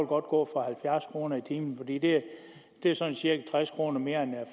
godt gå for halvfjerds kroner i timen fordi det er sådan cirka tres kroner mere end jeg